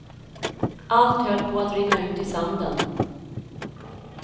Allt höll på att rinna ut i sanden.